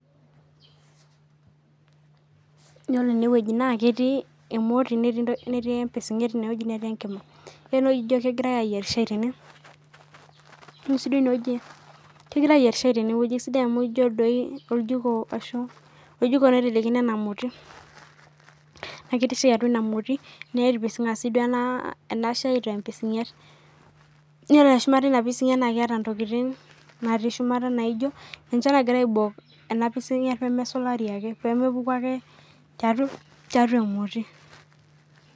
Yiolo enewueji netii emoti netii empisinget netii enkima yiolo enewueji ijo kegirai ayier shai tene ore si duo enewueji kegirai ayier shai esidai amu ijo naji oljikooitelekino ena moti na ketii shai atua enamoti nepisinga si duo enashai tempisinget ore shumata enapisinget na keeta ntokitin nati shumata ninche nagira aibok enapisinget pemesulari pemepuku ake tiatua emoti.